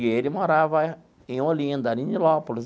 E ele morava em Olinda, ali em Nilópolis.